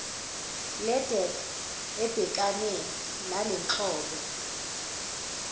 ledec ebhekane nalenhlobo